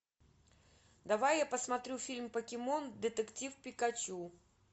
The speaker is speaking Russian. давай я посмотрю фильм покемон детектив пикачу